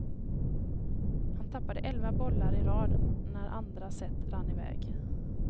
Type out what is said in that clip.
Han tappade elva bollar i rad när andra set rann iväg.